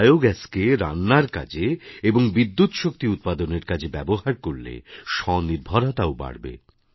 বায়োগ্যাসকে রান্নার কাজে এবং বিদ্যুৎ শক্তি উৎপাদনের কাজে ব্যবহার করলে স্বনির্ভরতাও বাড়বে